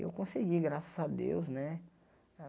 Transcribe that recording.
Eu consegui, graças a Deus, né?